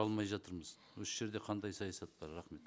алмай жатырмыз осы жерде қандай саясат бар рахмет